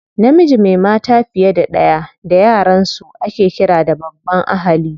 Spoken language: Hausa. Namiji mai mata fiye da ɗaya da yaransu ake ƙira da babban ahali.